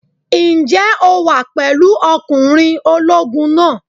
Ǹjẹ́ o wà pẹ̀lú ọkùnrin ológun náà?